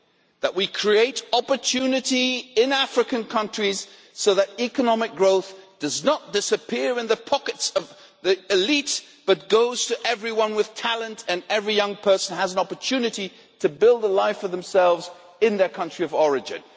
that we create opportunity in African countries so that economic growth does not disappear into the pockets of the elite but goes to everyone with talent and every young person has an opportunity to build a life for themselves in their country of origin.